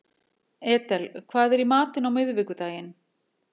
Edel, hvað er í matinn á miðvikudaginn?